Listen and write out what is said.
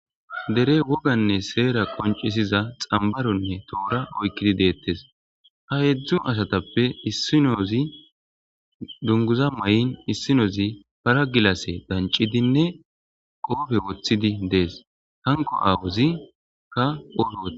Dre woganne seera qoncisiza xambaronne toora oykkidi deettes ha heedzdzu asatappe issinozi dunguza may7in issinozi paragilase dancidinne qoofe woththidi dees hanko aawozi ka ofo woe